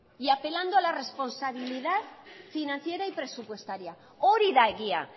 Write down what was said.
y apelando a la responsabilidad financiera y presupuestaria hori da egia